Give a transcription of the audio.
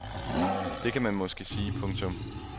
Det kan man måske sige. punktum